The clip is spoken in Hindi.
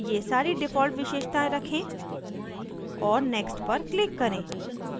ये सारी डिफ़ॉल्ट विशेषतायें रखें और next पर क्लिक करें